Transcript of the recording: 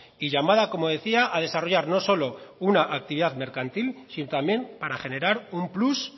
y llamada como decía a desarrollar no solo una actividad mercantil sino también para generar un plus